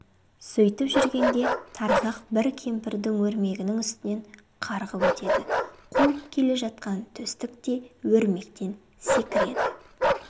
сөйтіп жүргенде тарғақ бір кемпірдің өрмегінің үстінен қарғып өтеді қуып келе жатқан төстік те өрмектен секіреді